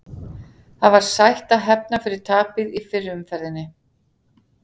Það var sætt að hefna fyrir tapið í fyrri umferðinni.